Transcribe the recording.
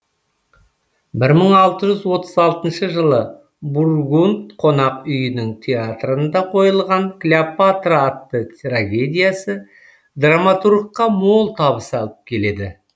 бір мың алты жүз отыз алтыншы жылы бургунд қонақ үйінің театрында қойылған клеопатра атты трагедиясы драматургқа мол табыс алып келеді